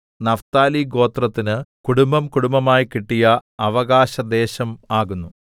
Naphtali ഗോത്രത്തിന് കുടുംബംകുടുംബമായി കിട്ടിയ അവകാശദേശം ആകുന്നു